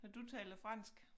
Har du taler fransk?